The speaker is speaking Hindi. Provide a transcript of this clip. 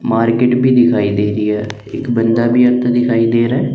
मार्केट भी दिखाई दे रही है एक बंदा भी अब तो दिखाई दे रहा है।